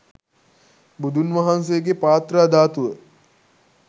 බුදුන් වහන්සේගේ පාත්‍රා ධාතුව